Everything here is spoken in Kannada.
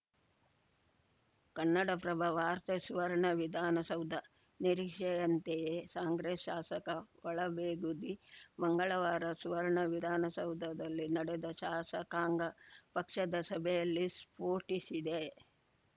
ಕನ್ನಡಪ್ರಭ ವಾರ್ತೆ ಸುವರ್ಣ ವಿಧಾನಸೌಧ ನಿರೀಕ್ಷೆಯಂತೆಯೇ ಕಾಂಗ್ರೆಸ್‌ ಶಾಸಕ ಒಳ ಬೇಗುದಿ ಮಂಗಳವಾರ ಸುವರ್ಣ ವಿಧಾನಸೌಧದಲ್ಲಿ ನಡೆದ ಶಾಸಕಾಂಗ ಪಕ್ಷದ ಸಭೆಯಲ್ಲಿ ಸ್ಫೋಟಿಸಿದೆ